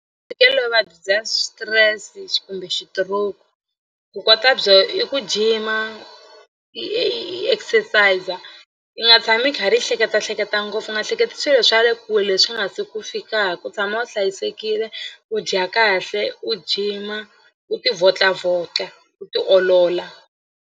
Ntsheketelo i vuvabyi bya stress kumbe xituroku ku kota byo i ku jima i i exercise i nga tshami i karhi i hleketahleketa ngopfu u nga hleketi swilo swa le kule swi nga se ku fikaku i tshama u hlayisekile u dya kahle u gym-a u tivhotlavhotla u tiolola.